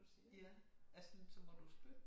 Ja ellers så må du spørge